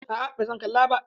A'a ba zan kalla ba.